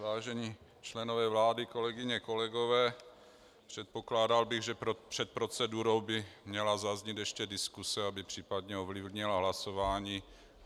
Vážení členové vlády, kolegyně, kolegové, předpokládal bych, že před procedurou by měla zaznít ještě diskuse, aby případně ovlivnila hlasování.